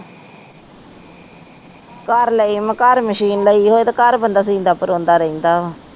ਘਰ ਲਈ ਮਸ਼ੀਨ ਲਈ ਹੋਵੇ ਤੇ ਬੰਦਾ ਸੀਂਦਾ ਪਰੋਂਦਾ ਰਹਿੰਦਾ ਵਾ